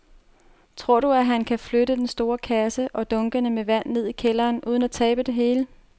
Tror du, at han kan flytte den store kasse og dunkene med vand ned i kælderen uden at tabe det hele?